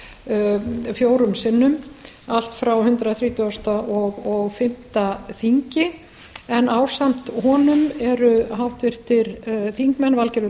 fyrir þessu fjórum sinni allt frá hundrað þrítugasta og fimmta þingi en ásamt honum eru háttvirtir þingmenn valgerður